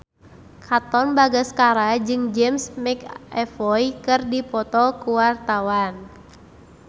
Katon Bagaskara jeung James McAvoy keur dipoto ku wartawan